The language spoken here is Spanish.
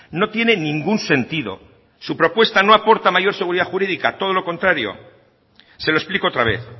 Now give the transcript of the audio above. no tiene ningún sentido su propuesta no aporta mayor seguridad jurídica todo lo contrario se lo explico otra vez